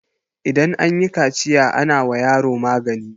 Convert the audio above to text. idan an yi kaciya ana wa yaro magani